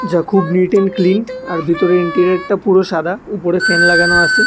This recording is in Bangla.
যা খুব নিট অ্যান্ড ক্লিন আর ভিতরে ইন্টেরিয়রটা পুরো সাদা উপরে ফ্যান লাগানো আসে।